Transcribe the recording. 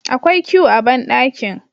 Akwai que a bandakin